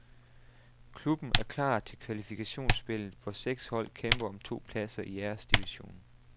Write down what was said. Klubben er klar til kvalifikationsspillet, hvor seks hold kæmper om to pladser i æresdivisionen.